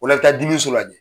O la i bɛ taa dimiso la jɛ.